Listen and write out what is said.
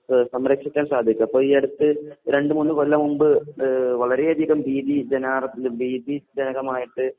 ഏഹ് സംരക്ഷിക്കാൻ സാധിക്കും. അപ്പോ ഈ അടുത്ത് രണ്ടുമൂന്നു കൊല്ലം മുമ്പ് ഏഹ് വളരെയധികം ഭീതി ജനാർ ഏഹ് ഭീതിജനകമായിട്ട്